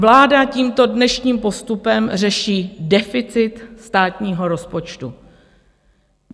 Vláda tímto dnešním postupem řeší deficit státního rozpočtu.